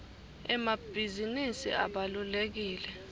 emabhizinisi abalulekile